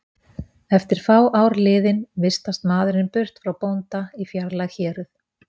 Eftir fá ár liðin vistast maðurinn burt frá bónda í fjarlæg héröð.